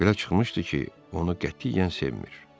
Belə çıxmışdı ki, onu qətiyyən sevmir.